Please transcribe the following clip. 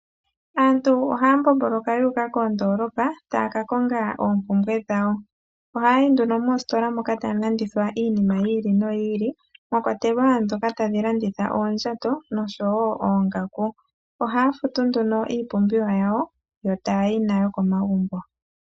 Aantu ohaa mbomboloka yuuka mondoolopa taya ka konga oompumbwe dhawo. Ohaayi nduno moositola moka tamu landithwa iinima yili no yili , mwakwatelwa ndhoka tadhi landitha oondjato noshowoo oongaku. Ohaa futu nduno iipumbiwa yawo yo taayi nayo komagumbo.